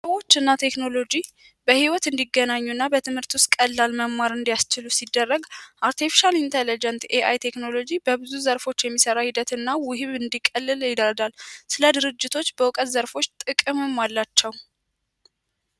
ሰዎች እና ቴክኖሎጂ በህይወት እንዲገናኙና በትምህርት ውስጥ ቀላል መማር እንዲያስችሉ ሲደረግ አርቴፊሻል ኢንተለጀንስ ቴክኖሎጂ በብዙ ዘርፎች የሚሠራ ሂደት እና ውህብ እንዲቀልልን ስለ ድርጅቶች በእውቀት ዘርፎች ጥቅሙም አላቸው።